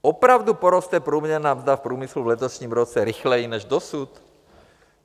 Opravdu poroste průměrná mzda v průmyslu v letošním roce rychleji než dosud?